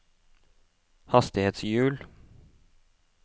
hastighetshjul